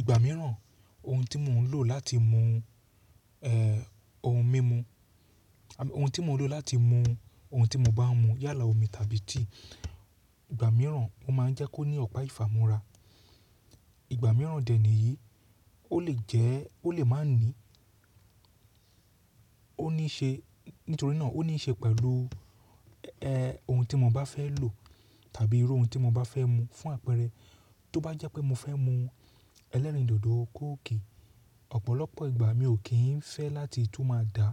Ìgbà mìíràn ohun tí mò ń lò láti mu, eh, ohun mímu, ohun tí mò ń lò láti mu ohun tí mo bá ń mu yálà omi tàbí tíì, ìgbà mìíràn ó máa ń jẹ́ kó ní ọ̀pá ìfàmúra. Ìgbà mìíràn dè níyìí ó lè jẹ́, ó lè má ní, ó níí ṣe, nítorí náà ó níí ṣe pẹ̀lú, eh, ohun tí mo bá fẹ́ lò tàbí irú ohun tí mo bá fẹ́ mu. Fún àpẹẹrẹ, tó bá jẹ́ pé mo fẹ́ mu ẹlẹ́rìndòdò kóòkì, ọ̀pọ̀lọpọ̀ ìgbà mi ò kí ń fẹ́ láti tú máa dàá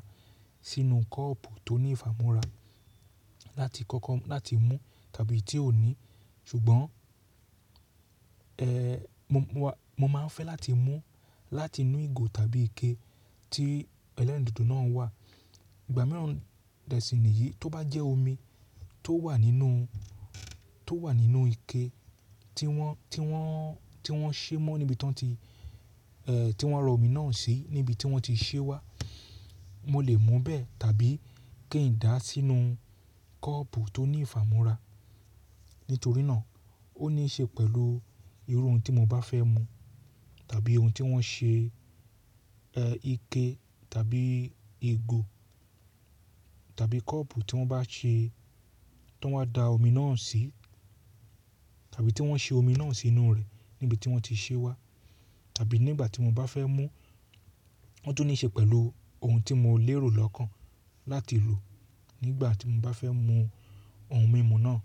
sínú kọ́ọ̀pù tó ní ìfàmúra láti kọ́kọ́ láti mú tàbí tí ò ní. Ṣùgbọ́n, eh, mo máa ń fẹ́ láti mú láti inú ìgò tàbí ike tí ẹlẹ́rìndòdò náà wà. Ìgbà mìíràn dè sí níyìí, tó bá jẹ́ omi tó wà nínú, tó wà nínú ike tí wọ́n, tí wọ́n, tí wọ́n ṣe mọ́ níbi tí wọ́n ti, eh, tí wọ́n rọ omi náà sí, níbi tí wọ́n ti ṣé wá, mo lè mu bẹ́ẹ̀ tàbí kí n dàá sínú kọ́ọ̀pù tó ní ìfàmúra. Nítorí náà ó níí ṣe pẹ̀lú irú ohun tí mo bá fẹ́ mu tàbí ohun tí wọ́n ṣe, eh, ike tàbí ìgò tàbí kọ́ọ̀pù tí wọ́n bá ṣe, tí wọ́n bá da omi náà sí tàbí tí wọ́n ṣe omi náà sí inú rẹ̀ níbi tí wọ́n ti ṣe wá. Tàbí nígbà tí mo bá fẹ́ mú, ó tún ní ṣe pẹ̀lú ohun tí mo lè rò lọ́kàn láti lò nígbà tí mo bá fẹ́ mu ohun mímu náà.